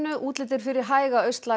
útlit er fyrir hæga